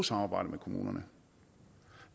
samarbejde med kommunerne